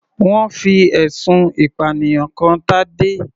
Wọ́n fi ẹ̀sùn ìpànìyàn kan Tadé.